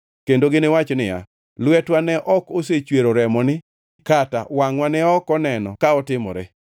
kendo giniwach niya, “Lwetwa ne ok osechwero remoni kata wangʼwa ne ok oneno ka otimore.